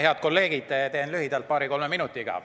Head kolleegid, teen lühidalt, paari-kolme minutiga.